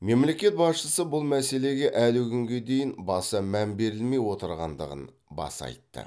мемлекет басшысы бұл мәселеге әлі күнге дейін баса мән берілмей отырғандығын баса айтты